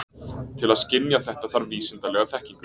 Til að skynja þetta þarf vísindalega þekkingu.